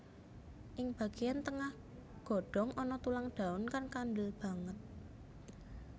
Ing bagéyan tengah godhong ana tulang daun kang kandel banget